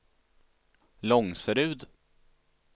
Långserud